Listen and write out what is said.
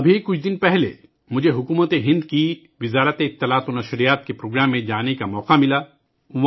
ابھی کچھ دن پہلے ہی مجھے حکومت ہند کی وزارت اطلاعات و نشریات کے زیر اہتمام ایک پروگرام میں شرکت کا موقع ملا